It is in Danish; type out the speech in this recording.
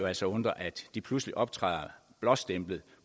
altså undre at de pludselig optræder blåstemplet